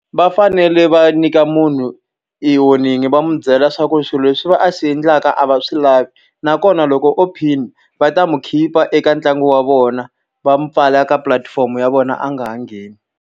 Va fanele va nyika munhu e warning-i va n'wi byela leswaku swilo leswi va a xi endlaka a va swi lavi. Nakona loko PIN va ta n'wi khipa eka ntlangu wa vona, va n'wi mpfala eka pulatifomo ya vona a nga ha ngheni.